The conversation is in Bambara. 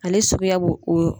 Ale souguya b'o o .